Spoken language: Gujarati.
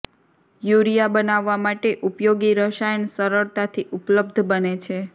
યુરિયા બનાવવા માટે ઉપયોગી રસાયણ સરળતાથી ઉપલબ્ધ બને છે